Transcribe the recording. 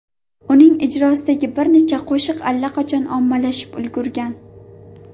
Uning ijrosidagi bir nechta qo‘shiq allaqachon ommalashib ulgurgan.